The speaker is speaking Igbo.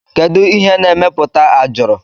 Kedu ihe na emeputa ajọrọ?